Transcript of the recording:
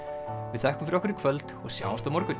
við þökkum fyrir okkur í kvöld og sjáumst á morgun